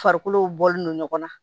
Farikolo bɔlen do ɲɔgɔn na